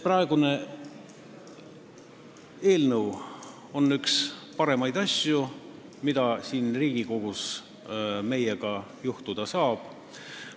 Praegune eelnõu on üks paremaid asju, mida siin Riigikogus meiega juhtuda saab.